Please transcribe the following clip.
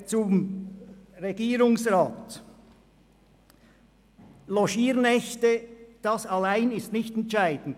Zum Regierungsrat: Logiernächte allein sind nicht entscheidend.